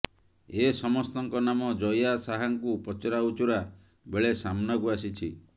ଏ ସମସ୍ତଙ୍କ ନାମ ଜୟା ଶାହାଙ୍କୁ ପଚରାଉଚରା ବେଳେ ସାମ୍ନାକୁ ଆସିଛି